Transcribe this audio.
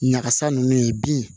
Nakasa ninnu ye bin